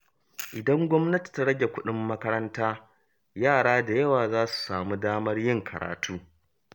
Idan gwamnati ta rage kuɗin makaranta, yara da yawa za su samu damar yin karatu.